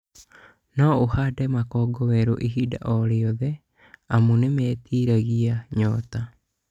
No ũhande makongo werũ ihinda o rĩothe amu nĩmetiragia nyota